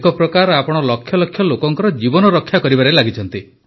ଏକ ପ୍ରକାର ଆପଣ ଲକ୍ଷ ଲକ୍ଷ ଲୋକଙ୍କ ଜୀବନ ରକ୍ଷା କରିବାରେ ଲାଗିଛନ୍ତି